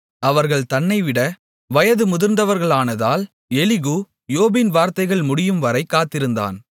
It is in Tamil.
அவர்கள் தன்னைவிட வயது முதிர்ந்தவர்களானதினால் எலிகூ யோபின் வார்த்தைகள் முடியும்வரை காத்திருந்தான்